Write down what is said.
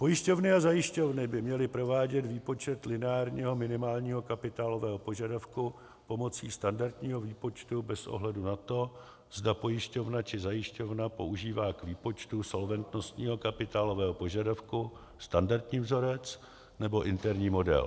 Pojišťovny a zajišťovny by měly provádět výpočet lineárního minimálního kapitálového požadavku pomocí standardního výpočtu bez ohledu na to, zda pojišťovna či zajišťovna používá k výpočtu solventnostního kapitálového požadavku standardní vzorec nebo interní model.